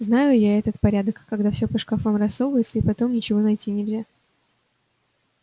знаю я этот порядок когда всё по шкафам рассовывается и потом ничего найти нельзя